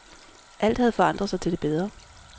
Alt havde forandret sig til det bedre.